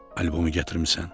"Albomu gətirmisən?"